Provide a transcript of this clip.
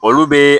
Olu bɛ